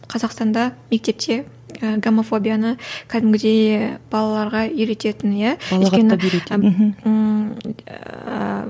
қазақстанда мектепте ыыы гомофобияны кәдімгідей балаларға үйрететін иә